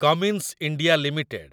Cummins India limited